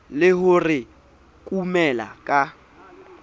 le ho re kumela ka